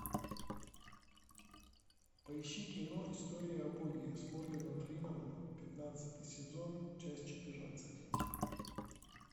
поищи кино история о боге с морганом фрименом пятнадцатый сезон часть четырнадцать